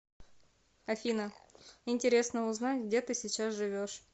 афина интересно узнать где ты сейчас живешь